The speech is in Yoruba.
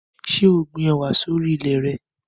Ṣé o gbin ẹwà sì orí ilẹ̀ re?